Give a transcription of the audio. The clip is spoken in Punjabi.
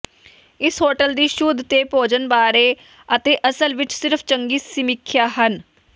ਇਸ ਹੋਟਲ ਦੀ ਸ਼ੁੱਧ ਤੇ ਭੋਜਨ ਬਾਰੇ ਅਤੇ ਅਸਲ ਵਿੱਚ ਸਿਰਫ ਚੰਗੀ ਸਮੀਖਿਆ ਹਨ